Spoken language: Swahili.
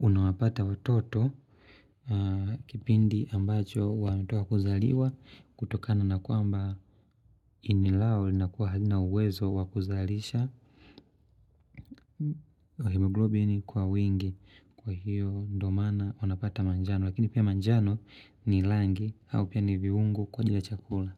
unawapata watoto kipindi ambacho wanatoka kuzaliwa kutokana na kuamba ini lao linakua halina uwezo wakuzalisha hemoglobini kwa wingi kwa hiyo ndo maana wanapata manjano. Lakini pia manjano ni langi au pia ni viungu kwa ajili ya chakula.